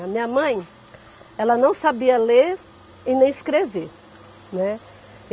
A minha mãe, ela não sabia ler e nem escrever, né.